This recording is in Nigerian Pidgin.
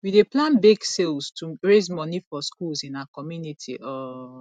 we dey plan bake sales to raise money for schools in our community um